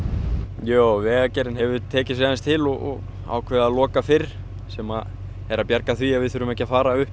jú Vegagerðin hefur tekið sig til og ákveðið að loka fyrr sem er að bjarga því að við þurfum ekki að fara upp